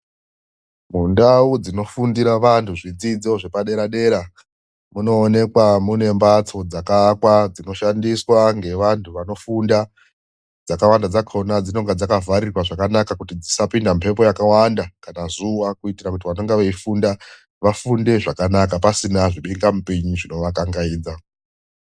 Mundau dzinofundira vanhu zvidzidzo zvepadera dera munoonekwa mune mbatso dzakaakwa dzinoshandiswa ngevanhu vanofunda, dzakawanda dzakona dzinonga dzakavharirwa zvakanaka kuti dzisapinda mhepo yakawanda kana zuwa kuitira kuti vanonga veifunda vafunde zvakanaka pasina zvibinga mupini zvinovakangaidza.